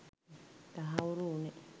තහවුරු වුයේ